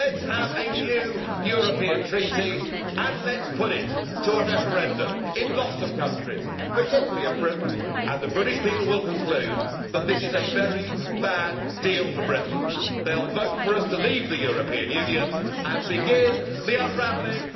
Let us have a new European treaty and let us put it to a referendum in lots of countries, particularly in Britain, and the British people will conclude that this is a very bad deal for Britain. They will vote for us to leave the European Union and begin the unravelling.